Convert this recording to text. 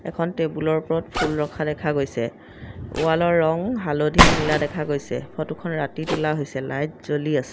এখন টেবুলৰ ওপৰত ফুল ৰখা দেখা গৈছে ৱালৰ ৰং হালধীয়া নীলা দেখা গৈছে ফটোখন ৰাতি তোলা হৈছে লাইট জ্বলি আছে।